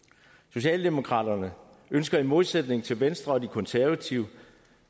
socialdemokraterne ønsker i modsætning til venstre og de konservative